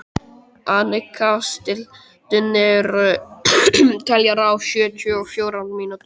Anika, stilltu niðurteljara á sjötíu og fjórar mínútur.